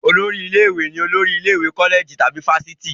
Olórí ilé-ìwé ni olórí ilé ìwé kọ́lẹ̀jì tàbí fáfitì.